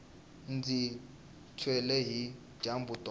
ndzi tshwile hi dyambu tolo